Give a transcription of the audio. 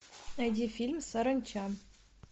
найди фильм саранча